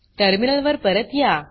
terminal वर परत या